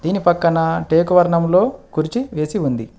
దీని పక్కన టేకు వర్ణములో కుర్చీ వేసి ఉంది.